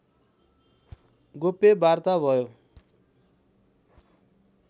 गोप्य वार्ता भयो